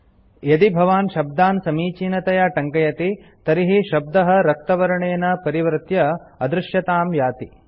यदि भवान् शब्दान् समीचीनतया टङ्कयति तर्हि शब्दः रक्तवर्णेन परिवर्त्य अदृश्यतां याति